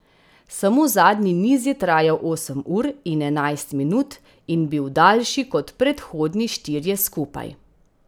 Samo zadnji niz je trajal osem ur in enajst minut in bil daljši kot predhodni štirje skupaj.